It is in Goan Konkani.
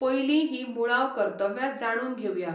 पयलीं हीं मुळाव कर्तव्यां जाणून घेवया.